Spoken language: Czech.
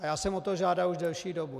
A já jsem o to žádal už delší dobu.